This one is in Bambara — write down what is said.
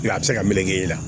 Nka a bɛ se ka meleke i la